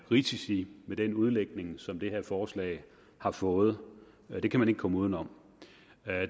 risici med den udlægning som det her forslag har fået det kan man ikke komme uden om